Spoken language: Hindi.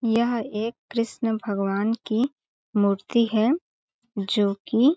यह एक कृष्ण भगवान की मूर्ति है जोकि--